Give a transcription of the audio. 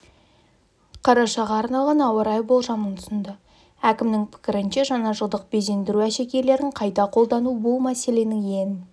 қарашаға арналған ауа райы болжамын ұсынды әкімнің пікірінше жаңажылдық безендіру әшекейлерін қайта қолдану бұл мәселенің ең